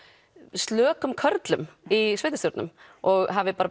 slökum körlum í sveitarstjórnum og hafi